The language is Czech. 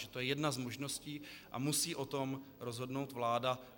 Že to je jedna z možností a musí o tom rozhodnout vláda.